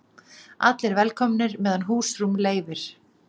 Allir velkomnir meðan húsrúm leyfir